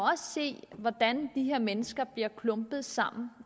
se hvordan de her mennesker bliver klumpet sammen